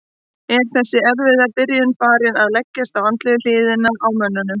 Er þessi erfiða byrjun farin að leggjast á andlegu hliðina á mönnum?